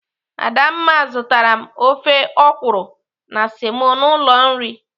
Adamma zụtara m ofe ọkwụrụ na semo n'ụlọ nri.